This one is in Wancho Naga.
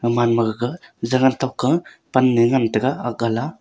gaman ma gaga zagan tokka pan ne ngan taga ak ga la.